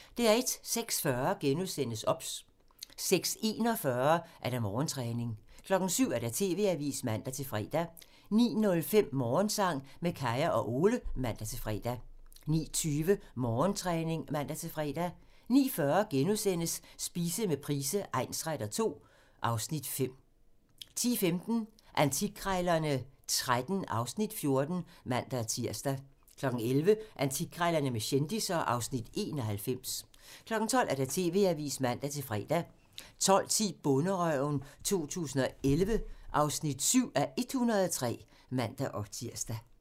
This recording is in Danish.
06:40: OBS *(man) 06:41: Morgentræning (man) 07:00: TV-avisen (man-fre) 09:05: Morgensang med Kaya og Ole (man-fre) 09:20: Morgentræning (man-fre) 09:40: Spise med Price egnsretter II (Afs. 5)* 10:15: Antikkrejlerne XIII (Afs. 14)(man-tir) 11:00: Antikkrejlerne med kendisser (Afs. 91) 12:00: TV-avisen (man-fre) 12:10: Bonderøven 2011 (7:103)(man-tir)